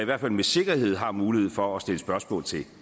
hvert fald med sikkerhed har mulighed for at stille spørgsmål til